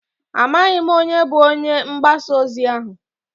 Amaghị m onye bụ onye ngbasa ozi ahụ.